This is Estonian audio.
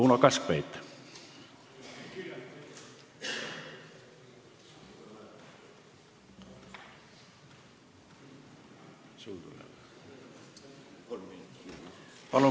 Uno Kaskpeit, palun!